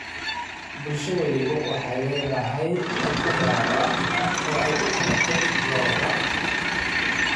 Bulsho waliba waxay leedahay hab u gaar ah oo ay u qalanto Lo’da.